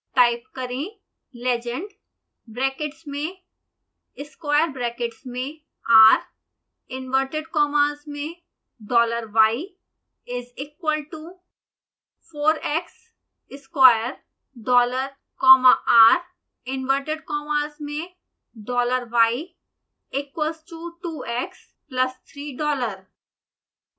type करें legend brackets में square brackets में r इंवर्टेड कॉमास में dollar y is equal to 4 x square dollar comma r inverted commas में dollar y equals to 2x plus 3 dollar